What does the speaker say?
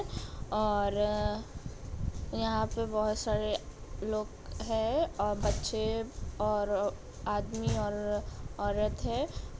और अ यहाँ पे बहोत सारे लोग है और बच्चे और आदमी और औरत है ।